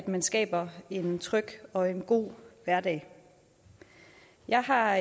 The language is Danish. man skaber en tryg og en god hverdag jeg har